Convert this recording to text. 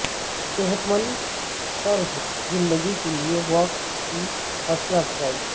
صحت مند طرز زندگی کے لیے واک کی حوصلہ افزائی